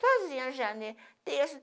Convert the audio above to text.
Sozinha no já né, terço.